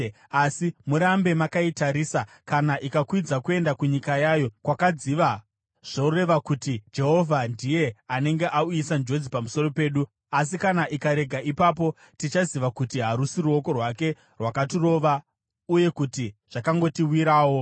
asi, murambe makaitarisa. Kana ikakwidza kuenda kunyika yayo, kwakadziva kuBhetishemeshi, zvoreva kuti Jehovha ndiye anenge auyisa njodzi pamusoro pedu. Asi kana ikarega, ipapo tichaziva kuti harusi ruoko rwake rwakatirova uye kuti zvakangotiwirawo.”